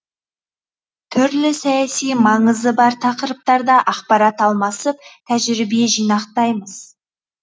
түрлі саяси маңызы бар тақырыптарда ақпарат алмасып тәжірибе жинақтаймыз